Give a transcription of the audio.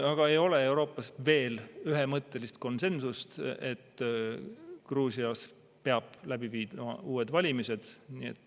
Aga ei ole Euroopas veel ühemõttelist konsensust, et Gruusias peab läbi viima uued valimised.